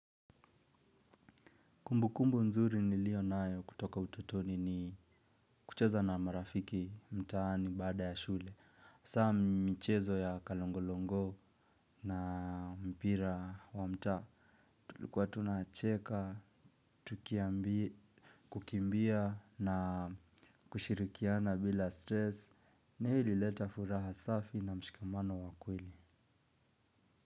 Kumbukumbu nzuri nilio nayo kutoka ututoni ni kucheza na marafiki mtaani baada ya shule. Saa michezo ya kalongolongo na mpira wa mtaa. Tulikuwa tunacheka, tukiambi, kukimbia na kushirikiana bila stress. Na hii ilileta furaha safi na mshikamano wa kweli.